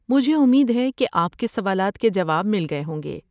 مجھے امید ہے کہ آپ کے سوالات کے جوابات مل گئے ہوں گے۔